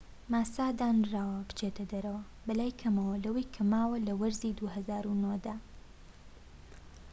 ماسا دانراوە بچێتە دەرەوە بەلای کەمەوە لەوەی کە ماوە لە وەرزی ٢٠٠٩ دا